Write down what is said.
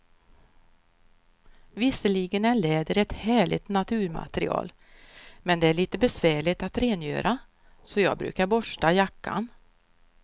Visserligen är läder ett härligt naturmaterial, men det är lite besvärligt att rengöra, så jag brukar borsta jackan.